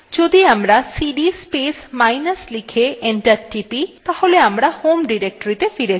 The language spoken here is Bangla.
যদি আমরা cd space minus লিখে enter টিপি তাহলে আমরা home ডিরেক্টরীতে ফিরে যাব